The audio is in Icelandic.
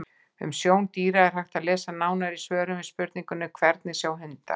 Um sjón dýra er hægt að lesa nánar í svörum við spurningunum: Hvernig sjá hundar?